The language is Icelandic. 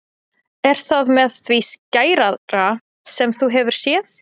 Er það með því skæðara sem þú hefur séð?